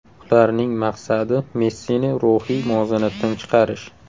Ularning maqsadi Messini ruhiy muvozanatdan chiqarish.